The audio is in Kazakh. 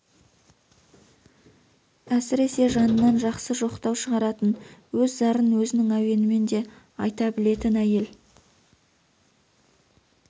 әсіресе жанынан жақсы жоқтау шығаратын өз зарын өзінің әуенімен де айта білетін әйел